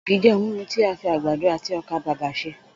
Ògì jé̩ ohun mímu tí a fi àgbàdo tàbí o̩kàbàbà s̩e